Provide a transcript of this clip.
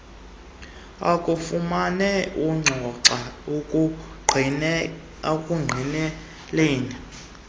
akufumane urhoxa ekungqineleni